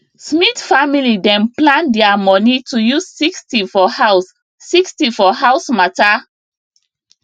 smith family dem plan their money to use 60 for house 60 for house matter